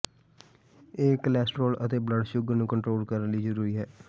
ਇਹ ਕੋਲੇਸਟ੍ਰੋਲ ਅਤੇ blood sugar ਨੂੰ ਕੰਟਰੋਲ ਕਰਨ ਲਈ ਜ਼ਰੂਰੀ ਹੈ